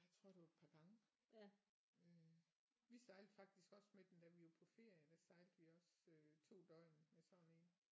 Jeg tror det var et par gange øh vi sejlede faktisk også med den da vi var på ferie der sejlede vi også øh 2 døgn med sådan en